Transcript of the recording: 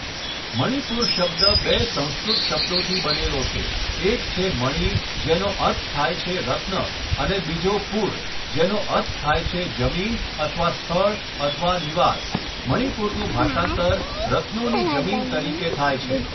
મણિપુર શબ્દ બે સંસ્કૃત શબ્દોથી બનેલો છે, એક છે મણિ જેનો અર્થ થાય છે રત્ન અને બીજો પુર, જેનો અર્થ થાય છે જમીન અથવા સ્થળ અથવા નિવાસ, મણિપુરનું ભાષાંતર 'રત્નોની જમીન' તરીકે થાય છે.